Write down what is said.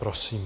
Prosím.